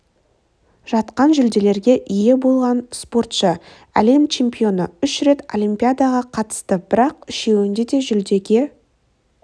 жатқан жүлделерге ие болған спортшы әлем чемпионы үш рет олимпиадаға қатысты бірақ үшеуінде де жүлдеге